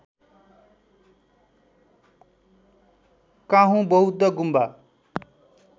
काँहू बौद्घ गुम्बा